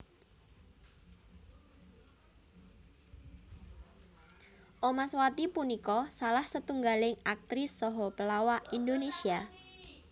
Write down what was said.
Omaswati punika salah setunggaling aktris saha pelawak Indonésia